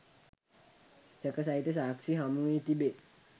සැක සහිත සාක්‍ෂි හමු වී තිබේ